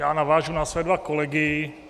Já navážu na své dva kolegy.